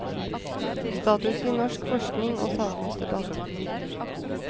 Status i norsk forskning og samfunnsdebatt.